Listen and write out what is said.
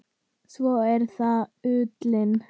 Svo er það ullin.